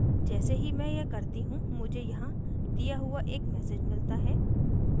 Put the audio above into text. जैसे ही मैं यह करती हूँ मुझे यहाँ दिया हुआ एक message मिलता है